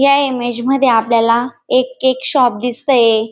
या इमेज मधे आपल्याला एक केक शॉप दिसतय.